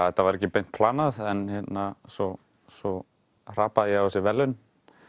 þetta var ekki beint planað en svo svo hrapaði ég á þessi verðlaun